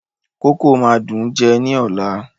Kókò máa dùn ún jẹ ní ọ̀la.